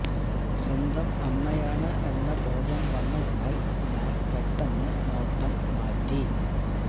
സ്വന്തം അമ്മയാണ് എന്ന ബോധം വന്നതിനാൽ ഞാൻ പെട്ടെന്ന് നോട്ടം മാറ്റി